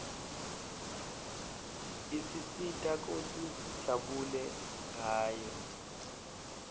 isisita kutsi sijabule ngayo